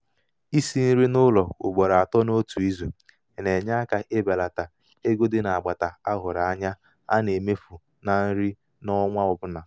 isi nri n'ụlọ ugboro atọ n'otu izu na-enye aka ibelata ego dị n'agbata a hụrụ anya a na-emefu na nri ọnwa ọbụla. nri ọnwa ọbụla.